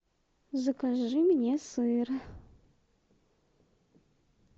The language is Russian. закажи мне сыр